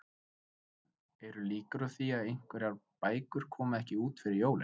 Jóhann, eru líkur á því að einhverjar bækur komi ekki út fyrir jólin?